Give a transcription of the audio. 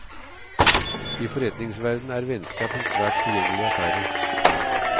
I forretningsverden er vennskap en svært forgjengelig affære.